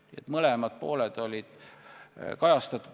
Nii et mõlemad pooled olid kajastatud.